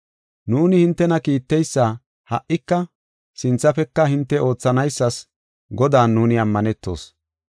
Nuuni hintena kiitteysa ha77ika sinthafeka hinte oothanaysas Godan nuuni ammanetoos.